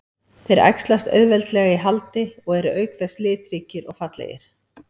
Þeir æxlast auðveldlega í haldi og eru auk þess litríkir og fallegir.